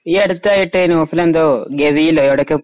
ഈ അടുത്തായിട്ട് നോർത്തിലെന്തോ ഗവിയിലോ എവിടെയൊക്കെയോ